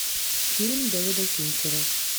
фильм дэвида финчера